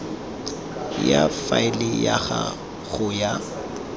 ya faele ga go a